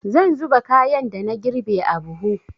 Zan zuba kayan da na girbe a buhu.